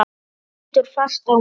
Hún lítur fast á mig.